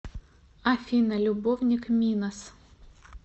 афина любовник минос